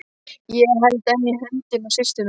Ég held enn í höndina á systur minni.